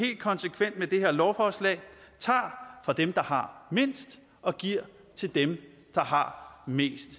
konsekvens af det her lovforslag tager fra dem der har mindst og giver til dem der har mest